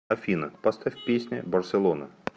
афина поставь песня барселона